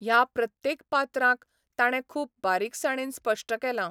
ह्या प्रत्येक पात्रांक ताणें खूब बारिकसाणेन स्पश्ट केलां.